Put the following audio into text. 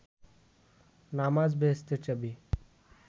নামাজ বেহেস্তের চাবি